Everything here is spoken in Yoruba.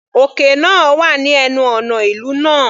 Òkè náà wà ní ẹnu ọ̀nà ìlú náà.